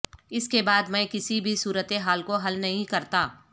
اس کے بعد میں کسی بھی صورت حال کو حل نہیں کرتا